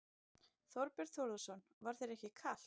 Þorbjörn Þórðarson: Var þér ekkert kalt?